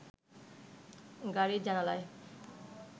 গাড়ির জানালায়